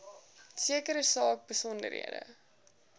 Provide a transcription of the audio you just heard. sekere saak besonderhede